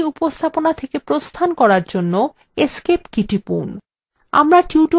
এই উপস্থাপনা থেকে প্রস্থান করার জন্য escape key টিপুন